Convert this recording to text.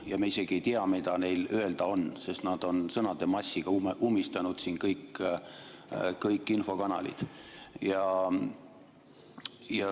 Ja me isegi ei tea, mida neil öelda on, sest nad on sõnade massiga ummistanud siin kõik infokanalid.